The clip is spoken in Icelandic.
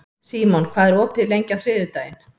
Símon, hvað er opið lengi á þriðjudaginn?